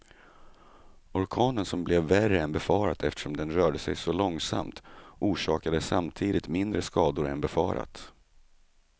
Orkanen som blev värre än befarat eftersom den rörde sig så långsamt, orsakade samtidigt mindre skador än befarat.